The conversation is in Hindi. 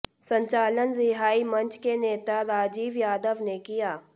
संचालन रिहाई मंच के नेता राजीव यादव ने किया